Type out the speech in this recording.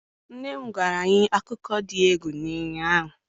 nne m gwara anyi akuko di egwu ụnyanya.